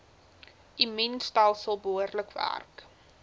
immuunstelsel behoorlik werk